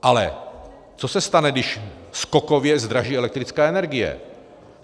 Ale co se stane, když skokově zdraží elektrická energie?